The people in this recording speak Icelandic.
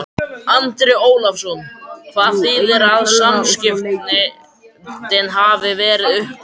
Andri Ólafsson: Hvað þýðir að samskiptin hafi verið uppbyggileg?